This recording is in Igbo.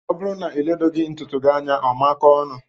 O bụrụ na iledoghi ntụtụ gị anya ọ makóó ọnụ.